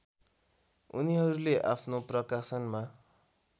उनीहरूले आफ्नो प्रकाशनमा